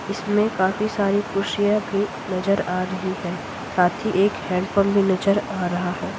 इसमें काफी सारी कुर्सियाँ भी नजर आ रही है साथ ही एक हैंड पंप भी नजर आ रहा है।